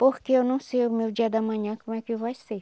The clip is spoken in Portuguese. Porque eu não sei o meu dia de amanhã como é que vai ser.